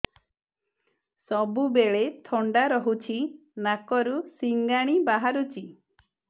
ସବୁବେଳେ ଥଣ୍ଡା ରହୁଛି ନାକରୁ ସିଙ୍ଗାଣି ବାହାରୁଚି